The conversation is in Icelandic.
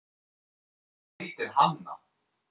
Hún heitir Hanna.